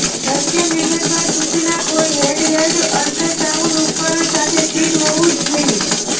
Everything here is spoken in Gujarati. રશિયન વિગતવાર સૂચના કોઇ હેન્ડહેલ્ડ અલ્ટ્રાસાઉન્ડ ઉપકરણ સાથે ફીટ હોવું જ જોઈએ